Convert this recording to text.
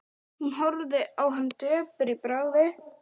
Hún horfði á hann döpur í bragði.